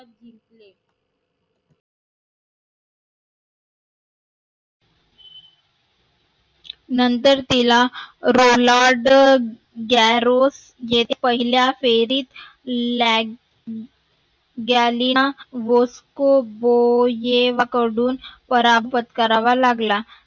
नंतर तिला roland garros येथे पहिल्या फेरीत ल्याग ग्यालीया वोस्को बोये कडून पराभत करवा लागला.